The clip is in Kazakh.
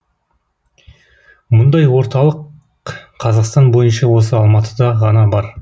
бұндай орталық қазақстан бойынша осы алматыда ғана бар